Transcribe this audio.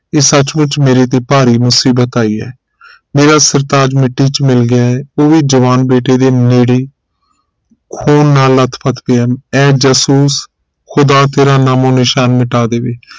ਇਹ ਸੱਚਮੁੱਚ ਮੇਰੇ ਤੇ ਭਰੀ ਮੁਸੀਬਤ ਆਈ ਹੈ ਮੇਰਾ ਸਰਤਾਜ ਮਿੱਟੀ ਚ ਮਿਲ ਗਿਆ ਹੈ ਉਹ ਵੀ ਜਵਾਨ ਬੇਟੇ ਦੇ ਨੇੜੇ ਖੂਨ ਨਾਲ ਲੱਥਪੱਥ ਪਿਆ ਐ ਜਾਸੂਸ ਖੁਦਾ ਤੇਰਾ ਨਾਮੋ ਨਿਸ਼ਾਨ ਮਿਟਾ ਦੇਵੇ